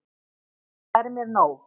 Það er mér nóg.